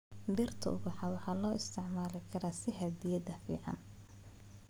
Dhirta ubaxa waxaa loo isticmaali karaa sidii hadiyad fiican.